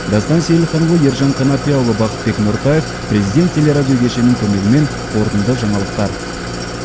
дастан сейілханұлы ержан қанапияұлы бақытбек нұртаев президент телерадиокешенінің көмегімен қорытынды жаңалықтар